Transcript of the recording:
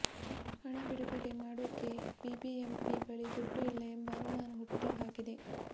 ಹಣ ಬಿಡುಗಡೆ ಮಾಡೋಕೆ ಬಿಬಿಎಂಪಿ ಬಳಿ ದುಡ್ಡು ಇಲ್ಲ ಎಂಬ ಅನುಮಾನ ಹುಟ್ಟು ಹಾಕಿದೆ